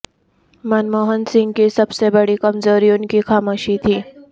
منموہن سنگھ کی سب سے بڑی کمزوری ان کی خاموشی تھی